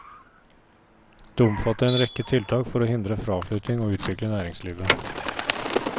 Det omfatter en rekke tiltak for å hindre fraflytting og utvikle næringslivet.